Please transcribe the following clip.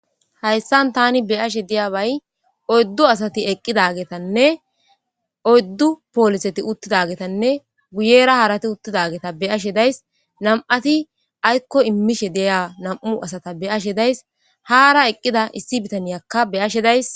Hayssan taani beyashe diyabay oyddu asatti eeqidagetanne oyddu polisetti uuttidagetanne guyera harati uuttidagetta beyashe dayis nam'iatti aykko iimmishe diya nam'u asata beyashe dayssi haara eeqida issi biittaniyakka beyashe dayssii